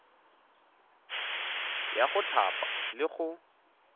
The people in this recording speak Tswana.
ya go thapa le go